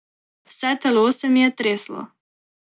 Vse telo se mi je treslo.